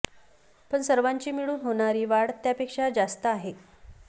पण सर्वांची मिळून होणारी वाढ त्यापेक्षा जास्त आहे